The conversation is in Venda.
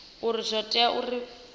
uri zwo tea naa uri